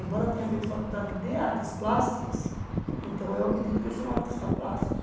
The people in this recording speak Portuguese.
Embora tenha feito faculdade de artes plásticas, então eu acredito que sou um artista plástico.